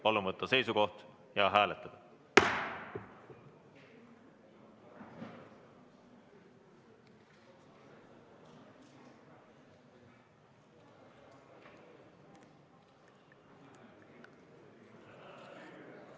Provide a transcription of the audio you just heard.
Palun võtta seisukoht ja hääletada!